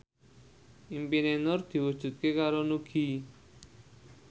impine Nur diwujudke karo Nugie